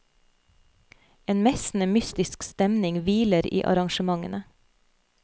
En messende, mystisk stemning hviler i arrangementene.